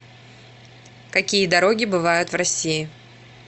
какие дороги бывают в россии